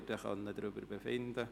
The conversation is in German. Dann können wir darüber befinden.